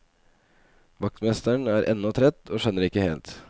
Vaktmesteren er ennå trett, og skjønner ikke helt.